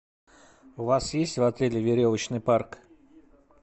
у вас есть в отеле веревочный парк